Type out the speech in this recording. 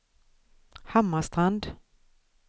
Hammarstrand